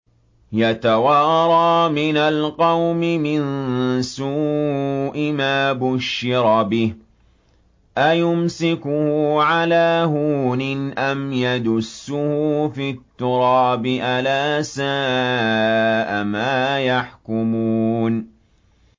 يَتَوَارَىٰ مِنَ الْقَوْمِ مِن سُوءِ مَا بُشِّرَ بِهِ ۚ أَيُمْسِكُهُ عَلَىٰ هُونٍ أَمْ يَدُسُّهُ فِي التُّرَابِ ۗ أَلَا سَاءَ مَا يَحْكُمُونَ